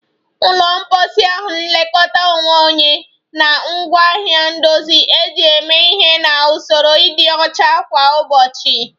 Ụlọ mposi bụ nlekọta onwe onye na ngwaahịa ndozi eji eme ihe na usoro ịdị ọcha kwa ụbọchị